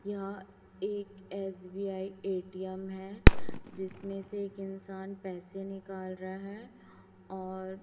यहां एक SBI ATM है जिसमें से एक इंसान पैसे निकाल रहा है और--